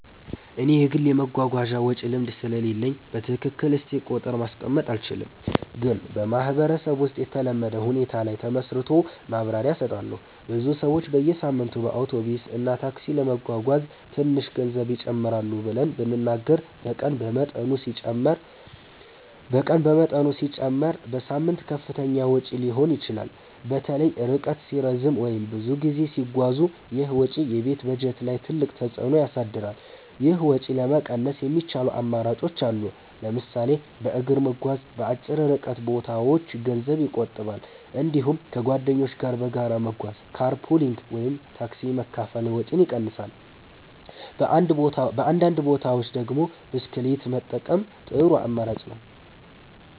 እኔ የግል የመጓጓዣ ወጪ ልምድ ስለሌለኝ በትክክል እስቲ ቁጥር ማስቀመጥ አልችልም፣ ግን በማህበረሰብ ውስጥ የተለመደ ሁኔታ ላይ ተመስርቶ ማብራሪያ እሰጣለሁ። ብዙ ሰዎች በየሳምንቱ በአውቶቡስ እና ታክሲ ለመጓጓዝ ትንሽ ገንዘብ ይጀምራሉ ብለን ብንናገር በቀን በመጠኑ ሲጨመር በሳምንት ከፍተኛ ወጪ ሊሆን ይችላል። በተለይ ርቀት ሲረዝም ወይም ብዙ ጊዜ ሲጓዙ ይህ ወጪ የቤት በጀት ላይ ትልቅ ተፅዕኖ ያሳድራል። ይህን ወጪ ለመቀነስ የሚቻሉ አማራጮች አሉ። ለምሳሌ በእግር መጓዝ በአጭር ርቀት ቦታዎች ገንዘብ ይቆጥባል። እንዲሁም ከጓደኞች ጋር በጋራ መጓጓዝ (car pooling ወይም ታክሲ መካፈል) ወጪን ይቀንሳል። በአንዳንድ ቦታዎች ደግሞ ብስክሌት መጠቀም ጥሩ አማራጭ ነው።